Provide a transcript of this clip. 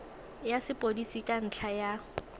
ya sepodisi ka ntlha ya